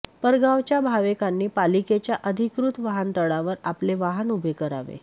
परगावच्या भावेकांनी पालिकेच्या अधिकृत वाहनतळांवर आपले वाहन उभे करावे